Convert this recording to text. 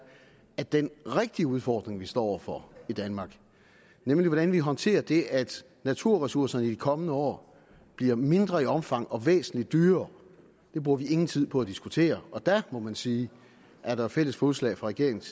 at den rigtige udfordring vi står over for i danmark nemlig hvordan vi håndterer det at naturressourcerne i de kommende år bliver mindre i omfang og væsentlig dyrere bruger vi ingen tid på at diskutere og der må man sige at der er fælles fodslag fra regeringens